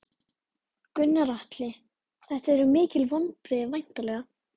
Gunnar Atli: Þetta eru mikil vonbrigði væntanlega?